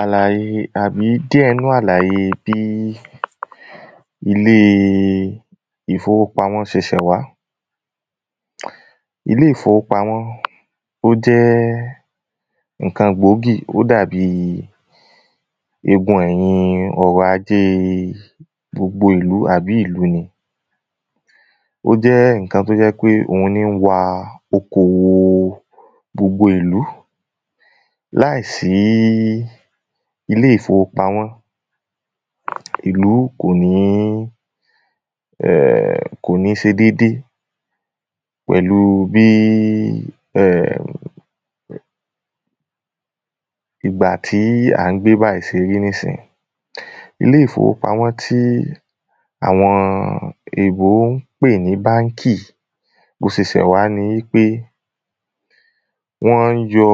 Àlàyé àbí díẹ̀ nú àlàyé bí ilé ìfowópamọ́ se ṣẹ̀ wá. Ilé ìfowópamọ́ ó jẹ́ nǹkan gbòógì ó dàbí egun ẹ̀yìn ọrọ̀ ajé ìlú àbí ìlú ni ó jẹ́ nǹkan tó jẹ́ wípé òhun ní wa oko gbogbo ìlú. Láì sí ilé ìfowópamọ́ ìlú kò ní um kò ní se dédé pẹ̀lú bí um ìgbà tí à ń gbé bájìí se rí nísìyìí. Ilé ìfowópamọ́ tí àwọn èbó ń pè ní bánkì bó se ṣẹ̀ wá ni wípé wọ́n ń yọ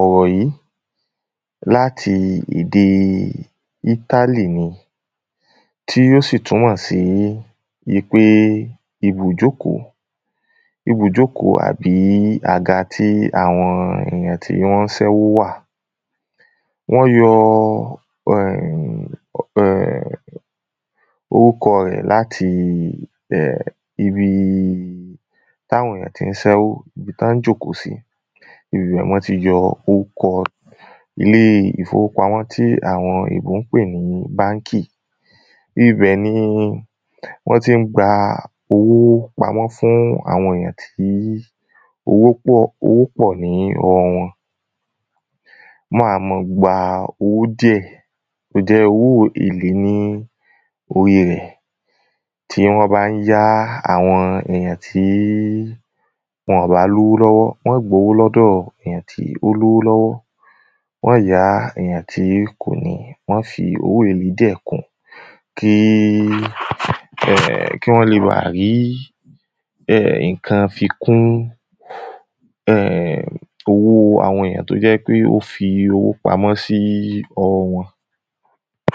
ọ̀rọ̀ yìí láti èdè ítálì ni. Tí ó sì túnmọ̀ sí wípé ibùjókòó ibùjókòó àbí àga tí àwọn èyàn tí wọ́n ń sẹ́ wó wà. Wọ́n yọ um orúkọ rẹ̀ láti ibi tàwọn èyàn tí ń sẹ́ wó ibi tán ń jókòó sí ibẹ̀ ná ti yọ ókọ ilé ìfowópamọ́ tí àwọn èbó ń pè ní bánkì ibẹ̀ ni wọ́n tí ń gba owó pamọ́ fún àwọn èyàn tí owó pọ̀ owó pọ̀ ní ọwọ́ wọn. Wọ́n wá mọ́ gba owó díẹ̀ tó jẹ́ owó èlé ní orí rẹ̀ tí wọ́n bá ń yá àwọn èyàn tí wọ́n bá lówó lọ́wọ́ wọ́n ́ gbowó lọ́wọ́ èyàn tó lówó lọ́wọ́ wọ́n yá èyàn tí kò ní wọ́n fi èlé díẹ̀ kún kí um kí wọ́n le bá rí um nǹkan fi kún um owó àwọn èyàn tó jẹ́ pé ó fi owó pamọ́ sí ọwọ́ wọn.